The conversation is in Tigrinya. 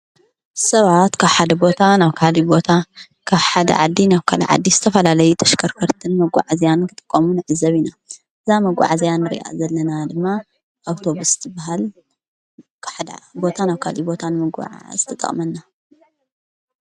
ሰባኣት ካብ ሓደ ቦታ ናብ ሓደ ቦታ ካ ሓድ ዓዲ ናብ ካል ዓዲ ዝተፈላለይ ተሽከርከርትን መጕዕ እዘያን ክጥቆሙንእዘቢ ኢና ዛ መጕዕ ዘያን ርእኣ ዘለና ድማ ኣውቶብስቲ በሃል ሓዳ ቦታ ናኣውካል ቦታን መጐዓ ዝተጠቕመና